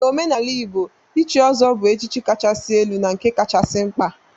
N'omenala Igbo, ichi ọzọ bu echichi kachasị elu na nke kachasị mkpa.